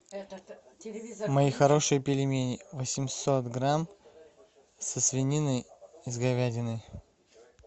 мои хорошие пельмени восемьсот грамм со свининой с говядиной